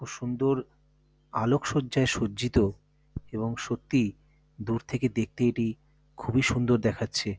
খুব সুন্দর আলোকসজ্জায় সজ্জিত এবং সত্যি দূর থেকে দেখতে এটি খুবই সুন্দর দেখাচ্ছে।